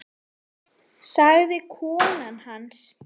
sagði kona hans.